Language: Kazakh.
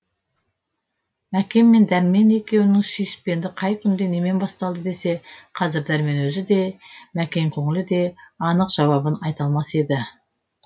мәкен мен дәрмен екеуінің сүйіспендігі қай күнде немен басталды десе қазір дәрмен өзі де мәкен көңілі де анық жауабын айта алмас еді